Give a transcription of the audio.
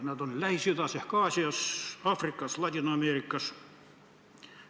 Nad on Lähis-Idas ehk Aasias, Aafrikas, Ladina-Ameerikas.